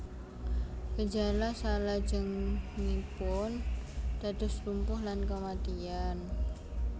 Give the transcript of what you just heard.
Gejala salajengipun dados lumpuh lan kematian